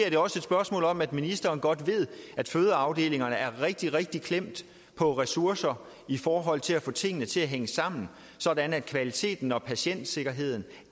også om at ministeren godt ved at fødeafdelingerne er rigtig rigtig klemte på ressourcer i forhold til at få tingene til at hænge sammen sådan at kvaliteten og patientsikkerheden